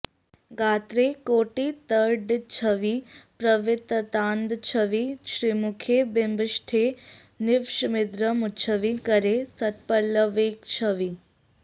गात्रे कोटितडिच्छवि प्रविततानन्दच्छवि श्रीमुखे बिम्बौष्ठे नवविद्रुमच्छवि करे सत्पल्लवैकच्छवि